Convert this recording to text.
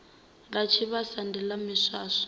ḽa tshivhasa ndi ḽa miswaswo